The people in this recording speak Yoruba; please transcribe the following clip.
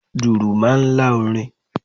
Dùrù máa ń lá orin.